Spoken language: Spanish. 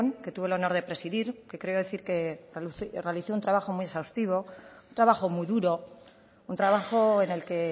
que tuve el honor de presidir que quiero decir que realicé un trabajo muy exhaustivo un trabajo muy duro un trabajo en el que